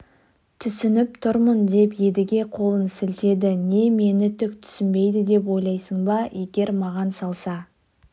түсініп тұрмын деп едіге қолын сілтеді не мені түк түсінбейді деп ойлайсың ба егер маған салса